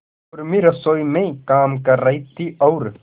उर्मी रसोई में काम कर रही थी और